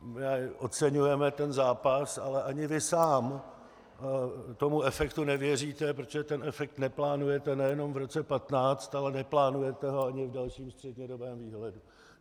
Oceňujeme ten zápas, ale ani vy sám tomu efektu nevěříte, protože ten efekt neplánujete nejenom v roce 2015, ale neplánujete ho ani v dalším střednědobém výhledu.